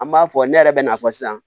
An b'a fɔ ne yɛrɛ bɛ n'a fɔ sisan